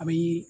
A bɛ